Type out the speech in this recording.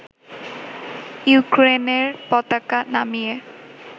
ইউক্রেইনের পতাকা নামিয়ে